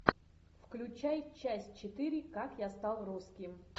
включай часть четыре как я стал русским